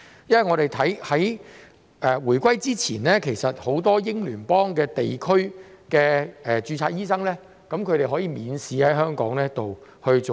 在回歸前，很多英聯邦地區的註冊醫生均可以免試在香港執業。